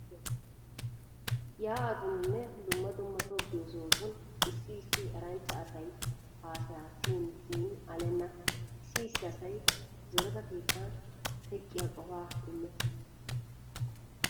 Yaa'atuninne dumma dumma tobbiyo sohotun issi issi eranchcha asaa haasayay siyin siyin alenna. Issi issi asay zoreta keettan teeqqiya qofaa immees.